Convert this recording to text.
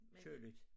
Køligt